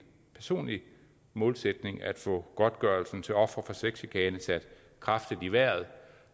personlig målsætning at få godtgørelsen til ofre for sexchikane sat kraftigt i vejret